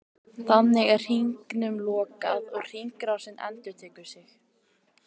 Þannig er hringnum lokað og hringrásin endurtekur sig.